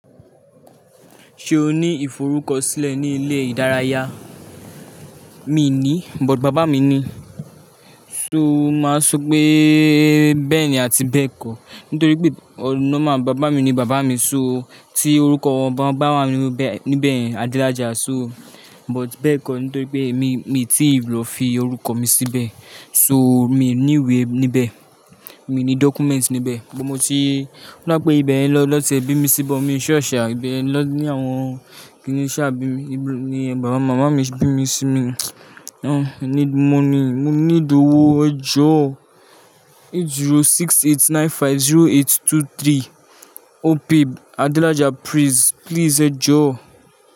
Ṣé o ní ìforúkọsílẹ̀ ní ilé ìdárayá? Mi ò ní, but bàbá mi ní. So máa sọ pé bẹ́ẹ̀ni àti bẹ́ẹ̀ kọ̀. Nítorí pé ọ̀nà máa bàbá mi ni bàbá mi, so tí orúkọ wọn bá wà níbẹ̀ yẹn, Adelaja, so but bẹ́ẹ̀ kọ̀. Nítorí pé èmi, mi tíì lọ fi orúkọ mi síbẹ̀. So mi ò ní ìwé níbẹ̀. Mi ní document níbẹ̀. Ibẹ̀ mo ti, o dà pé ibẹ̀ yẹn ni wọ́n ti ẹ̀ bí mi sí but miì sure shá ibẹ̀ yẹn ni àwọn màmá mi bí mi sí. Ní, mo i need money mo need òwò. Ẹ jọ̀ọ́ 068950823. Opay, Adelaja, please, please ẹ jọ̀ọ́.